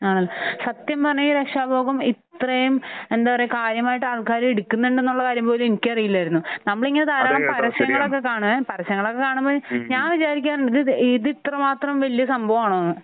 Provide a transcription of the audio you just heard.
ആഹ്. സത്യം പറഞ്ഞാൽ ഈ രക്ഷാ ഉപവം ഇത്രയും എന്താ പറയാ കാര്യമായിട്ട് ആൾക്കാർ എടുക്കുന്നുണ്ടെന്നുള്ള കാര്യം പോലും എനിക്കറിയില്ലായിരുന്നു. നമ്മൾ ഇങ്ങനെ ധാരാളം പരസ്യങ്ങളൊക്കെ കാണുവേ. പരസ്യങ്ങളൊക്കെ കാണുമ്പോൾ ഞാൻ വിചാരിക്കാറുണ്ട് ഇത് ഇത്ര മാത്രം വലിയ സംഭവം ആണോ എന്ന്.